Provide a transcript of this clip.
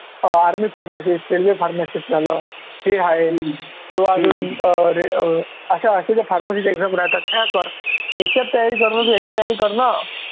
अं army pharmacist, soldier pharmacist झालं हे आहे किंवा अजून अं अश्या pharmacy च्या exam राहतात त्या कर, याच्यात तयारी करण्यापेक्षा तू याची तयारी कर ना